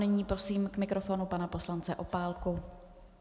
Nyní prosím k mikrofonu pana poslance Opálku.